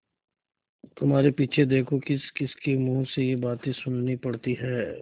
तुम्हारे पीछे देखो किसकिसके मुँह से ये बातें सुननी पड़ती हैं